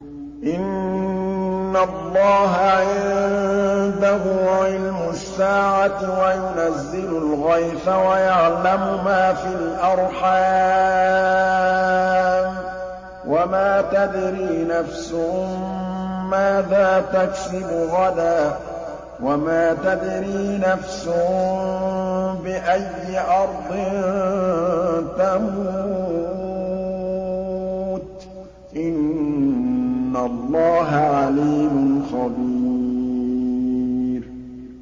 إِنَّ اللَّهَ عِندَهُ عِلْمُ السَّاعَةِ وَيُنَزِّلُ الْغَيْثَ وَيَعْلَمُ مَا فِي الْأَرْحَامِ ۖ وَمَا تَدْرِي نَفْسٌ مَّاذَا تَكْسِبُ غَدًا ۖ وَمَا تَدْرِي نَفْسٌ بِأَيِّ أَرْضٍ تَمُوتُ ۚ إِنَّ اللَّهَ عَلِيمٌ خَبِيرٌ